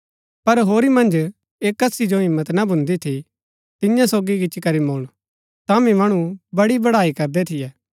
पर होरी मन्ज ऐह कसी जो हिम्मत ना भून्दी थी तियां सोगी गिच्ची करी मुळन तांभी मणु बड़ी बड़ाई करदै थियै